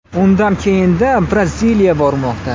Undan keyinda Braziliya bormoqda.